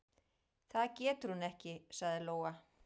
"""Það getur hún ekki, sagði Lóa."""